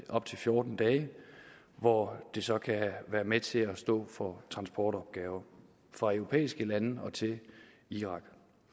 op til fjorten dage hvor det så kan være med til at stå for transportopgaver fra europæiske lande til irak